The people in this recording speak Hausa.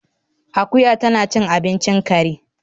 Akuya tana cin abincin kare